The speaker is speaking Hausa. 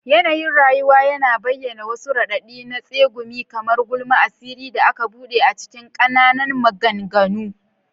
Yanayin rayuwa yana bayyana, wasu raɗaɗi na tsegumi kamar gulma, asirin da aka bude cikin ƙananan maganganu.